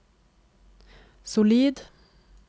solid